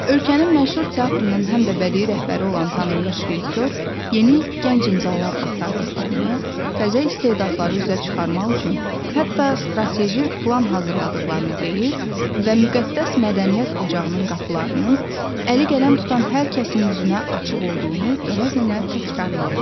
Ölkənin məşhur teatrının həm də bədii rəhbəri olan tanınmış rejissor yeni gənc imzalar axtardığını, təzə istedadları üzə çıxarmaq üçün hətta strateji plan hazırladıqlarını deyir və müqəddəs mədəniyyət ocağının qapılarının əli qələm tutan hər kəsin üzünə açıq olduğunu dönə-dönə təkrarlayırdı.